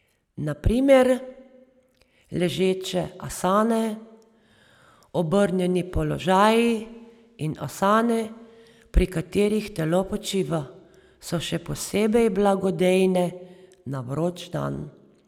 Na primer, ležeče asane, obrnjeni položaji in asane, pri katerih telo počiva, so še posebej blagodejne na vroč dan.